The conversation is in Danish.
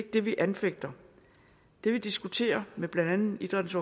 det vi anfægter det vi diskuterer med blandt andet idrættens